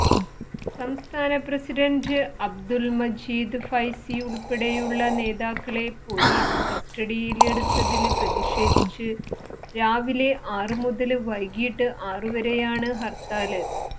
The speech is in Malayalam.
സംസ്ഥാനപ്രസിഡന്റ് അബ്ദുല് മജീദ് ഫൈസി ഉള്പ്പെടെയുള്ള നേതാക്കളെ പൊലീസ് കസ്റ്റഡിയില് എടുത്തതില് പ്രതിഷേധിച്ച് രാവിലെ ആറുമുതല് വൈകിട്ട് ആറുവരെയാണ് ഹര്ത്താല്